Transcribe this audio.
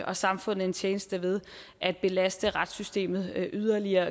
og samfundet en tjeneste ved at belaste retssystemet yderligere